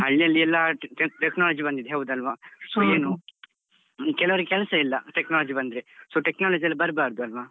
ಹಳ್ಳಿಯಲ್ಲಿ ಎಲ್ಲ tech~ technology ಬಂದಿದೆ ಹೌದಲ್ವ? so ಏನು ಕೆಲವರಿಗೆ ಕೆಲ್ಸ ಇಲ್ಲ. technology ಬಂದ್ರೆ, so technology ಯೆಲ್ಲ ಬರ್ಬಾದು ಅಲ್ವ?